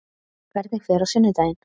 Hvernig fer á sunnudaginn?